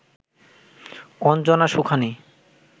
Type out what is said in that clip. Anjana Sukhani